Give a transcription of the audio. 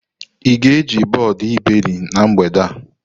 Ị ga-eji bọọdụ iberi na mgbede a?